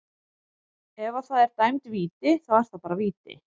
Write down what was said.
Ef að það er dæmd víti, þá er það bara víti.